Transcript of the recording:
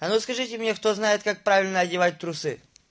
а ну скажите мне кто знает как правильно одевать трусы